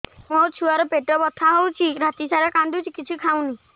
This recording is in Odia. ମୋ ଛୁଆ ର ପେଟ ବଥା ହଉଚି ରାତିସାରା କାନ୍ଦୁଚି କିଛି ଖାଉନି